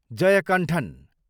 Jayakanthan